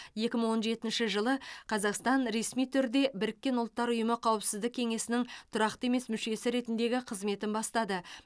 екі мың он жетінші жылы қазақстан ресми түрде біріккен ұлттар ұйымы қауіпсіздік кеңесінің тұрақты емес мүшесі ретіндегі қызметін бастады